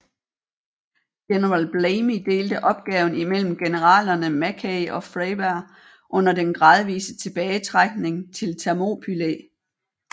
General Blamey delte opgaven mellem generalerne Mackay og Freyberg under den gradvise tilbagetrækning til Thermopylæ